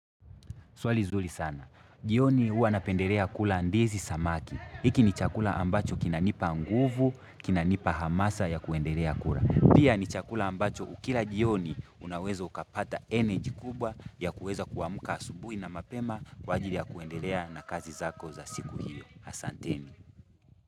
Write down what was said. Swali zuri sana. Jioni huwa napendelea kula ndizi samaki. Hiki ni chakula ambacho kinanipa nguvu, kinanipa hamasa ya kuendelea kula. Pia ni chakula ambacho ukila jioni unaweza ukapata eneji kubwa ya kuweza kuamka asubuhi na mapema kwa ajili ya kuendelea na kazi zako za siku hiyo. Asanteni.